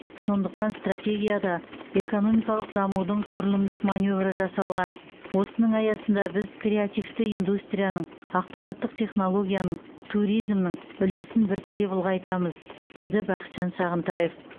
сондықтан стратегияда экономикалық дамудың құрылымдық маневрі жасалған осының аясында біз креативті индустрияның ақпараттық технологияның туризмнің үлесін біртіндеп ұлғайтамыз деді бақытжан сағынтаев